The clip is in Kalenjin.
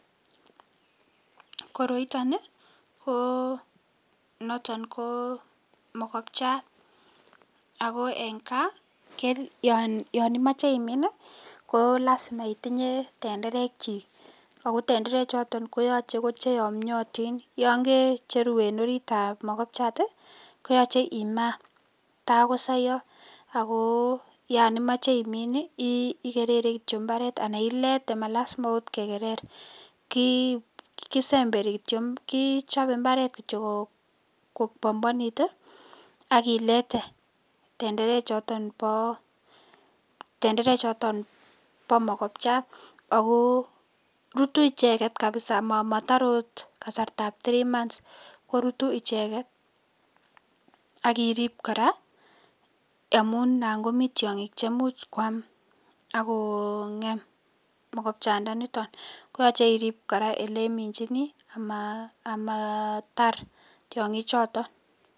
Koroiton ko niton ko mokopchat ak ko en Kaa Yoon imoche imin ko lasima itinye tenderekyik ak ko tenderechoton koyoche ko cheyomnyotin Yoon kecheru en oriitab mokobchat koyoche imaa takosoyo ak ko yoon imoche imin ikerere kityo imbaret anan iletee malasima okot kekerer, kisemberi kityo kichobe imbaret kityo ko bombonit ak ilete tendere choton bo mokobchat ak ko rutuu icheket kabisaa motore okot kasartab three months korutu icheket, ak iriib kora amun anan komii tiong'ik chemuch kwaam ak ko ng'em mokobcha ndaniton koyoche iriib kora eleminchini amaatar tiong'i choton.